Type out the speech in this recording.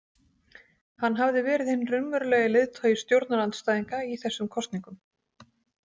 Hann hafði verið hinn raunverulegi leiðtogi stjórnarandstæðinga í þessum kosningum.